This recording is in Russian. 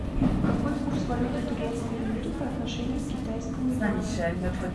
какой курс валюты турецкой лиры по отношению к китайскому юаню